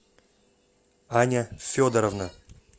аня федоровна